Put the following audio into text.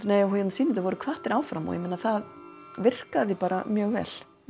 sýnendur voru hvattir áfram það virkaði bara mjög vel